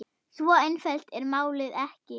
Svo einfalt er málið ekki.